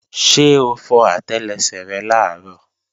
Ṣé o fọ àtẹlẹsẹ̀ rẹ làárọ̀?